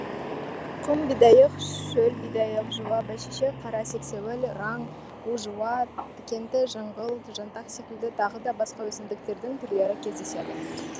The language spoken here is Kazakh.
құм бидайық шөл бидайық жуа бәйшешек қара сексеуіл раң у жуа тікенді жыңғыл жантақ секілді тағыда басқа өсімдіктердің түрлері кездеседі